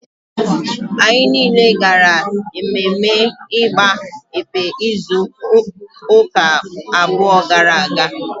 Anyị niile gara mmemme igba ekpe izu ụka abụọ gara aga